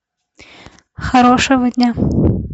хорошего дня